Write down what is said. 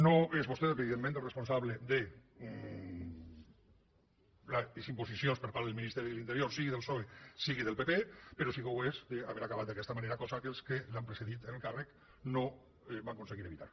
no és vostè evidentment el responsable de les imposicions per part del ministeri d’interior sigui del psoe sigui del pp però sí que ho és d’haver acabat d’aquesta manera cosa que els que l’han precedit en el càrrec no van aconseguir evitar